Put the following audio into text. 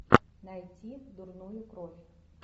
найти дурную кровь